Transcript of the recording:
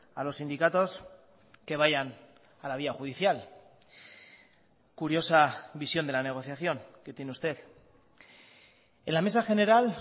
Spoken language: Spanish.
a los sindicatos que vayan a la vía judicial curiosa visión de la negociación que tiene usted en la mesa general